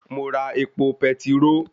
Mo ra epo petiró